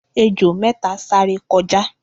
ejò méta sáré kọjá